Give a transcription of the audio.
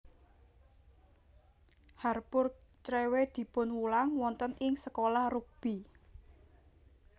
Harpur Crewe dipunwulang wonten ing Sekolah Rugby